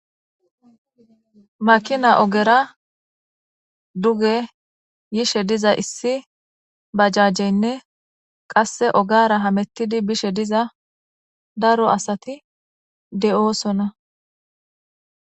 Makina ogera duge yishe diza issi bajajenne qasi ogera hamutizi bishe diza daro asati de,osona